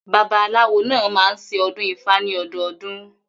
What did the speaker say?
Babaláwo náà máa ń ṣe ọdún ifá ní ọdọdún.